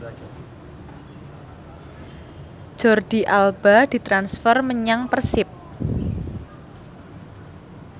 Jordi Alba ditransfer menyang Persib